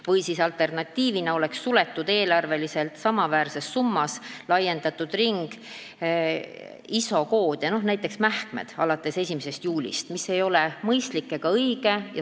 Või oleks alternatiivina suletud eelarveliselt samaväärses summas laiendatud ring ISO-koode, näiteks mähkmete kood, alates 1. juulist, mis ei oleks olnud mõistlik ega õige.